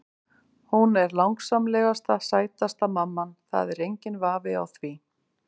Hún er langsamlega sætasta mamman, það er enginn vafi á því.